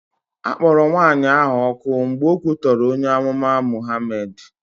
A kpọrọ nwaanyị ahụ ọkụ mgbe o kwutọrọ onye amụma Mụhamed.